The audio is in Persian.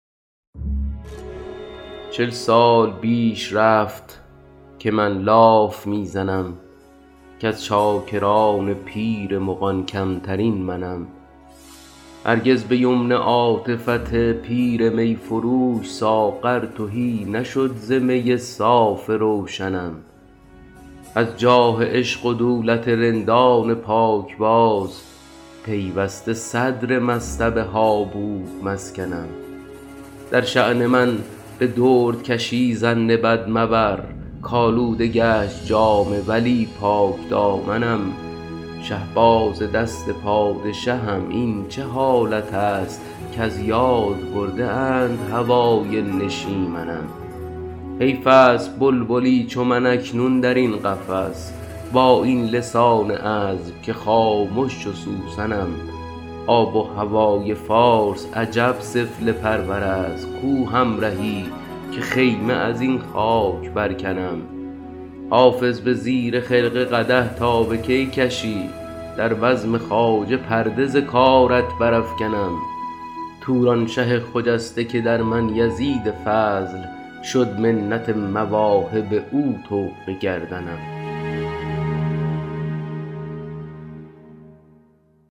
چل سال بیش رفت که من لاف می زنم کز چاکران پیر مغان کمترین منم هرگز به یمن عاطفت پیر می فروش ساغر تهی نشد ز می صاف روشنم از جاه عشق و دولت رندان پاکباز پیوسته صدر مصطبه ها بود مسکنم در شان من به دردکشی ظن بد مبر کآلوده گشت جامه ولی پاکدامنم شهباز دست پادشهم این چه حالت است کز یاد برده اند هوای نشیمنم حیف است بلبلی چو من اکنون در این قفس با این لسان عذب که خامش چو سوسنم آب و هوای فارس عجب سفله پرور است کو همرهی که خیمه از این خاک برکنم حافظ به زیر خرقه قدح تا به کی کشی در بزم خواجه پرده ز کارت برافکنم تورانشه خجسته که در من یزید فضل شد منت مواهب او طوق گردنم